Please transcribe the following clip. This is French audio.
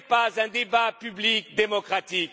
contre. Ce n'est pas un débat public démocratique.